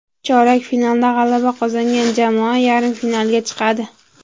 Chorak finalda g‘alaba qozongan jamoa yarim finalga chiqadi.